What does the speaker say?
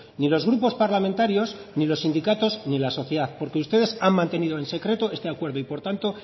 ni los grupos parlamentarios ni los sindicatos ni la sociedad porque ustedes han mantenido en secreto este acuerdo y por tanto